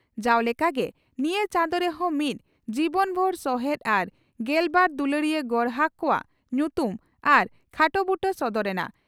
ᱡᱟᱣ ᱞᱮᱠᱟᱜᱮ ᱱᱤᱭᱟᱹ ᱪᱟᱸᱫᱚ ᱨᱮᱦᱚᱸ ᱢᱤᱫ ᱡᱤᱵᱚᱱᱵᱷᱩᱨ ᱥᱚᱦᱮᱛ ᱟᱨ ᱜᱮᱞᱵᱟᱨ ᱫᱩᱞᱟᱹᱲᱤᱭᱟᱹ ᱜᱚᱨᱦᱟᱠ ᱠᱚᱣᱟᱜ ᱧᱩᱛᱩᱢ ᱟᱨ ᱠᱷᱟᱴᱚ ᱵᱩᱴᱟᱹ ᱥᱚᱫᱚᱨ ᱮᱱᱟ ᱾